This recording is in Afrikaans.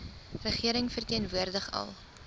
regering verteenwoordig al